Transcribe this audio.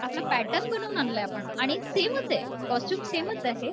आपला पॅटर्न बनवून आणलंय आपण आणि सेमच आहे कॉस्ट्यूम सेमच आहे